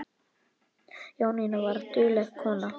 Jónína var dugleg kona.